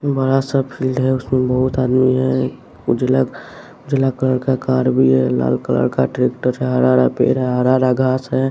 बड़ा सा फील्ड है उसमें बहुत आदमी है उजला उजला कलर का कार भी है लाल कलर का ट्रैक्टर हरा हरा पेड़ है हरा हारा घास है।